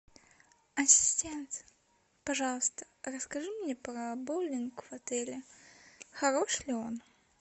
ассистент пожалуйста расскажи мне про боулинг в отеле хорош ли он